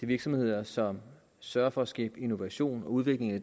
virksomheder som sørger for at skabe innovation og udvikling af